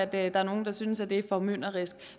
der er nogle der synes at det er formynderisk